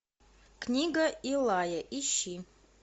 книга илая ищи